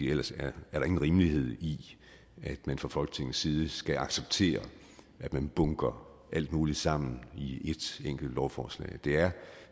ellers er der ingen rimelighed i at man fra folketingets side skal acceptere at man bunker alt muligt sammen i et enkelt lovforslag det er